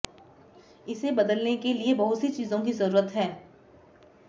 इसे बदलने के लिए बहुत सी चीजों की जरूरत है